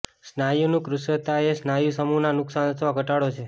સ્નાયુનું કૃશતા એ સ્નાયુ સમૂહના નુકશાન અથવા ઘટાડો છે